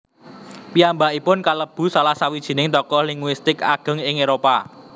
Piyambakipun kalebu salah sawijining tokoh linguistik ageng ing eropa